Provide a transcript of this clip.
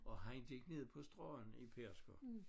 Og han kig ned på stranden i Pedersker